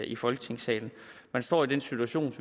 i folketingssalen man står i den situation